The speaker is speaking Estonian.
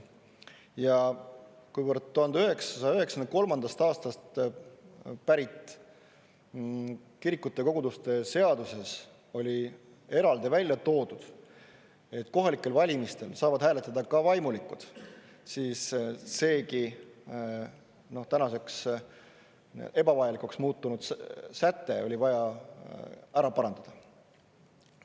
Ja kuivõrd 1993. aastast pärit kirikute ja koguduste seaduses oli eraldi välja toodud, et kohalikel valimistel saavad hääletada ka vaimulikud, siis seegi tänaseks ebavajalikuks muutunud säte oli vaja ära parandada.